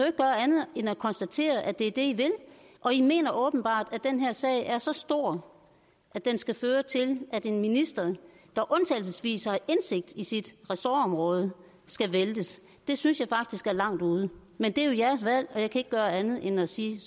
ikke gøre andet end at konstatere at det er det i vil og i mener åbenbart at den her sag er så stor at den skal føre til at en minister der undtagelsesvis har indsigt i sit ressortområde skal væltes det synes jeg faktisk er langt ude men det er jo jeres valg og jeg kan ikke gøre andet end at sige